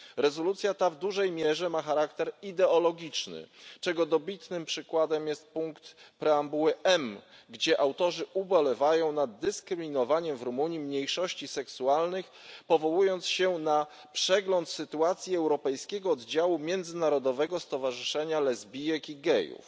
Rezolucja ta w dużej mierze ma charakter ideologiczny, czego dobitnym przykładem jest punkt preambuły M, gdzie autorzy ubolewają nad dyskryminowaniem w Rumunii mniejszości seksualnych, powołując się na przegląd sytuacji europejskiego oddziału Międzynarodowego Stowarzyszenia Lesbijek i Gejów.